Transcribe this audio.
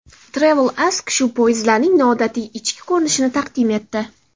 Travel Ask shu poyezdlarning noodatiy ichki ko‘rinishini taqdim etdi.